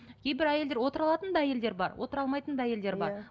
кейбір әйелдер отыра алатын да әйелдер бар отыра алмайтын да әйелдер бар